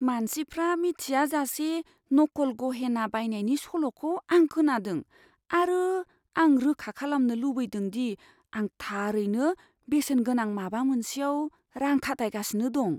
मानसिफ्रा मिथियाजासे नखल गहेना बायनायनि सल'खौ आं खोनादों, आरो आं रोखा खालामनो लुबैदों दि आं थारैनो बेसेनगोनां माबा मोनसेयाव रां खाथायगासिनो दं।